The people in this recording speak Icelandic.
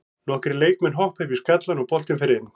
Nokkrir leikmann hoppa upp í skallann og boltinn fer inn.